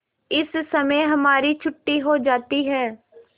इस समय हमारी छुट्टी हो जाती है